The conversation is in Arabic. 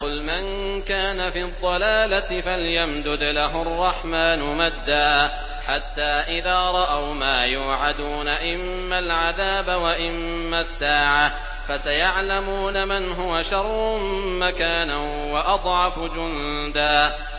قُلْ مَن كَانَ فِي الضَّلَالَةِ فَلْيَمْدُدْ لَهُ الرَّحْمَٰنُ مَدًّا ۚ حَتَّىٰ إِذَا رَأَوْا مَا يُوعَدُونَ إِمَّا الْعَذَابَ وَإِمَّا السَّاعَةَ فَسَيَعْلَمُونَ مَنْ هُوَ شَرٌّ مَّكَانًا وَأَضْعَفُ جُندًا